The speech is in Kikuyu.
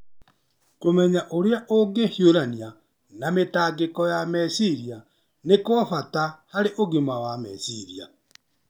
Kũmenya ũrĩa ũngĩhiũrania na mĩtangĩko ya meciria nĩ kwa bata harĩ ũgima wa meciria.